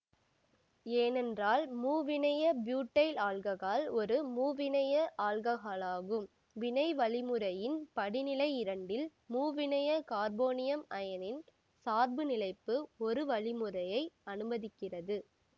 ஏனென்றால் மூவிணைய butyl alcohol ஒரு மூவிணைய ஆல்ககாலாகும் வினை வழிமுறையின் படிநிலை இரண்டில் மூவிணைய கார்போனியம் அயனியின் சார்பு நிலைப்பு ஒரூ வழிமுறையை அனுமதிக்கிறது